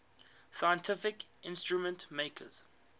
scientific instrument makers